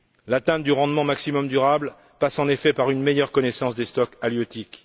L'atteinte du rendement maximum durable passe en effet par une meilleure connaissance des stocks halieutiques.